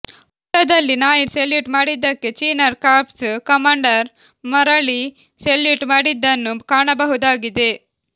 ಫೋಟೋದಲ್ಲಿ ನಾಯಿ ಸೆಲ್ಯೂಟ್ ಮಾಡಿದ್ದಕ್ಕೆ ಚಿನಾರ್ ಕಾರ್ಪ್ಸ್ ಕಮಾಂಡರ್ ಮರಳಿ ಸೆಲ್ಯೂಟ್ ಮಾಡಿದ್ದನ್ನು ಕಾಣಬಹುದಾಗಿದೆ